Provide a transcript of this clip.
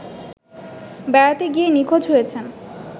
বেড়াতে গিয়ে নিখোঁজ হয়েছেন